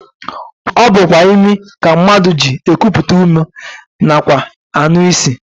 Ọ bụkwa imi ka mmadụ ji ekupụta ume nakwa anụ isi